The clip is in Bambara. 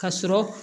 Ka sɔrɔ